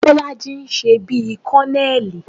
Bọ́lájí ń ṣe bí kọ́nẹẹ̀lì